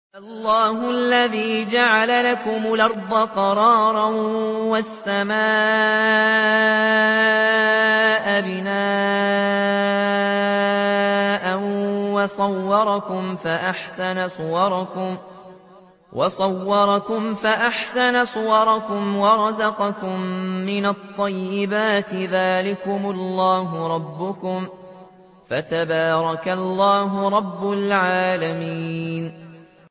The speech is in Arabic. اللَّهُ الَّذِي جَعَلَ لَكُمُ الْأَرْضَ قَرَارًا وَالسَّمَاءَ بِنَاءً وَصَوَّرَكُمْ فَأَحْسَنَ صُوَرَكُمْ وَرَزَقَكُم مِّنَ الطَّيِّبَاتِ ۚ ذَٰلِكُمُ اللَّهُ رَبُّكُمْ ۖ فَتَبَارَكَ اللَّهُ رَبُّ الْعَالَمِينَ